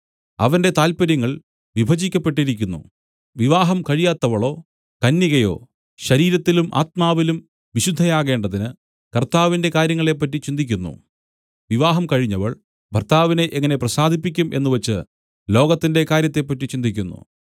അവന്റെ താല്പര്യങ്ങൾ വിഭജിക്കപ്പെട്ടിരിക്കുന്നു വിവാഹം കഴിയാ‍ത്തവളോ കന്യകയോ ശരീരത്തിലും ആത്മാവിലും വിശുദ്ധയാകേണ്ടതിന് കർത്താവിന്റെ കാര്യങ്ങളെപ്പറ്റി ചിന്തിക്കുന്നു വിവാഹം കഴിഞ്ഞവൾ ഭർത്താവിനെ എങ്ങനെ പ്രസാദിപ്പിക്കും എന്നുവച്ച് ലോകത്തിന്റെ കാര്യത്തെപ്പറ്റി ചിന്തിക്കുന്നു